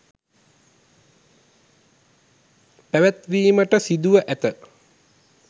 පැවැත්වීමට සිදුව ඇත